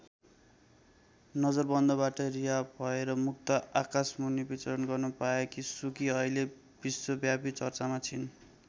नजरबन्दबाट रिहा भएर मुक्त आकाशमुनि विचरण गर्न पाएकी सुकी अहिले विश्वव्यापी चर्चामा छिन्।